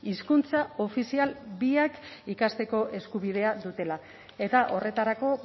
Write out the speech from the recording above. hizkuntza ofizial biak ikasteko eskubidea dutela eta horretarako